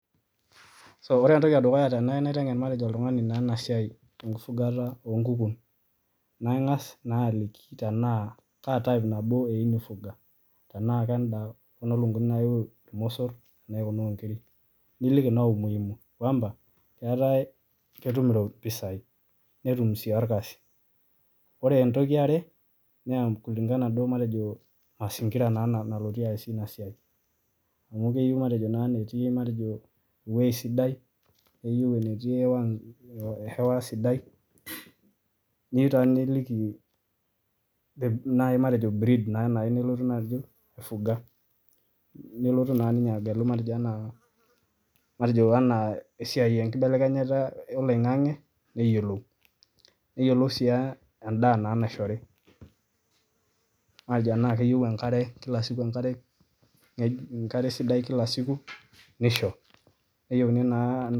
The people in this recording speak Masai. so kore entoki e dukuya tenayu naiteng'en matejo oltung'ani naa ena siai enkifugata oo nkukun, nang'as naa aliki tenaa kaa type nabo eyeu nifuga, tenaa kenda kuna lukung'uni nayiu irmosor anaye kuna o nkirik, niliki naa umuhimu kwamba, eetai ketum iro ketum impisai, netum sii orkasi. Ore entoki e are naa kulingana duo matejo mazingira naa nalotie aasie ina siai amu keyiu matejo naa enetii matejo ing'ua sidai, neyeu enetii hewa nzu hewa sidai, neyiu taa niliki matejo breed nayeu nai nelotu naaji aifuga, nelotu naa ninye agelu matejo enaa matejo enaa esiai enkibelekenyata oloing'ang'e neyolou. Neyolou sii aa endaa naa naishori, matejo enaake eyeu enkare kila siku enkare enkare sidai kila siku nisho, neyeuni naa..